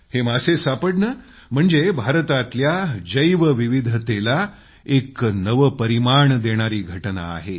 हे मासे सापडणे म्हणजे भारतातल्या जैवविविधतेला एक नवे परिमाण देणारी घटना आहे